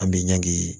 An bɛ ɲangi